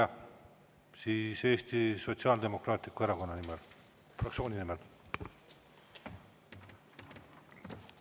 –, aga siis Eesti Sotsiaaldemokraatliku Erakonna fraktsiooni nimel!